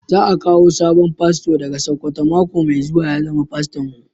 Za a kawo sabon fasto daga sokoto mako mai zuwa ya zama faston mu.